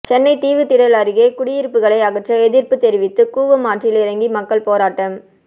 சென்னை தீவுத்திடல் அருகே குடியிருப்புகளை அகற்ற எதிர்ப்பு தெரிவித்து கூவம் ஆற்றில் இறங்கி மக்கள் போராட்டம்